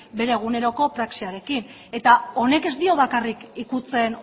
bere eguneroko praxiarekin eta honek ez dio bakarrik ukitzen